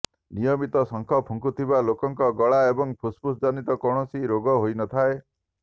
ନିୟମିତ ଶଙ୍ଖ ଫୁଙ୍କୁଥିବା ଲୋକଙ୍କ ଗଳା ଏବଂ ଫୁସଫୁସ୍ ଜନିତ କୌଣସି ରୋଗ ହୋଇନଥାଏ